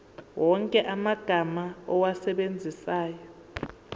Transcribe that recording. wonke amagama owasebenzisayo